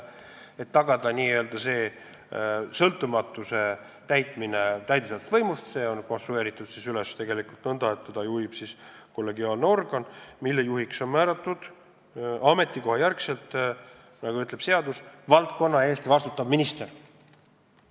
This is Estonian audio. Et tagada asutuse sõltumatus täidesaatvast võimust, on see üles ehitatud nõnda, et seda juhib kollegiaalne organ, mille juht on ametikohajärgselt – nii ütleb seadus – valdkonna eest vastutav minister.